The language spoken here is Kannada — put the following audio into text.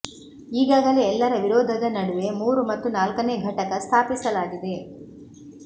ಈಗಾಗಲೇ ಎಲ್ಲರ ವಿರೋಧದ ನಡುವೆ ಮೂರು ಮತ್ತು ನಾಲ್ಕನೇ ಘಟಕ ಸ್ಥಾಪಿಸಲಾಗಿದೆ